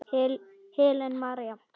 Helen María.